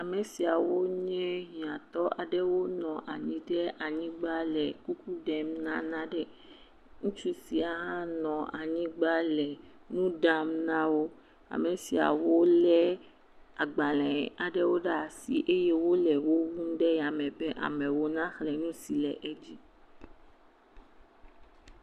Ame siawo nye hiãtɔwo wonɔ anyi ɖe anyigba le kuku ɖem na naɖe. Ŋutsu sia hã nɔ anyigba le nu ɖam na wo. Ame siawo lé agbalẽ aɖewo ɖe asi eye wole wo wum ɖe yame be amewo na xlẽ nu si le edzi